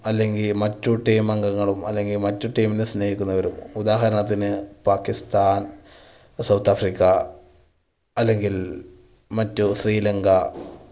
അല്ലെങ്കിൽ മറ്റു team അംഗങ്ങളും അല്ലെങ്കിൽ മറ്റു team നെ സ്നേഹിക്കുന്നവരും, ഉദാഹരണത്തിന് പാക്കിസ്ഥാൻ, സൌത്ത് ആഫ്രിക്ക അല്ലെങ്കിൽ മറ്റു ശ്രീലങ്ക